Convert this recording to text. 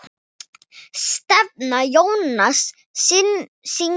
Stefán Jónsson syngur.